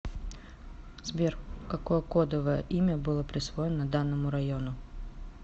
сбер какое кодовое имя было присвоено данному району